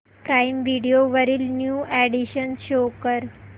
prime video वरील new additions show कर